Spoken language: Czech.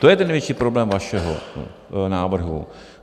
To je ten největší problém vašeho návrhu.